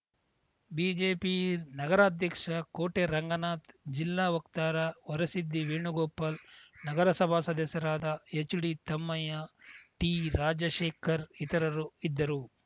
BJP ನಗರಾಧ್ಯಕ್ಷ ಕೋಟೆ ರಂಗನಾಥ್‌ ಜಿಲ್ಲಾ ವಕ್ತಾರ ವರಸಿದ್ದಿ ವೇಣುಗೋಪಾಲ್‌ ನಗರಸಭಾ ಸದಸ್ಯರಾದ ಎಚ್‌ಡಿತಮ್ಮಯ್ಯ ಟಿ ರಾಜಶೇಖರ್‌ ಇತರರು ಇದ್ದರು